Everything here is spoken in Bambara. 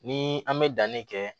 Ni an bɛ danni kɛ